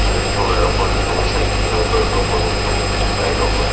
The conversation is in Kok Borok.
raing tonga re tongo cycle rok borok rok tongo vike rok bw.